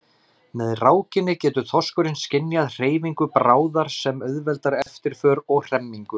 Með rákinni getur þorskurinn skynjað hreyfingu bráðar sem auðveldar eftirför og hremmingu.